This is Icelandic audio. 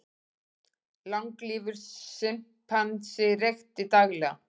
Langlífur simpansi reykti daglega